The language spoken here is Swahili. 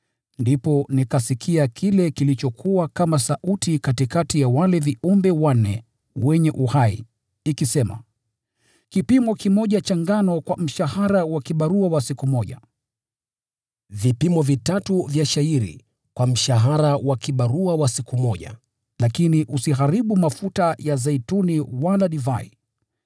Ndipo nikasikia kile kilichokuwa kama sauti katikati ya wale viumbe wanne wenye uhai ikisema, “Kipimo kimoja cha ngano kwa mshahara wa kibarua wa siku moja, na vipimo vitatu vya shayiri kwa mshahara wa kibarua cha siku moja. Lakini usiharibu mafuta wala divai!”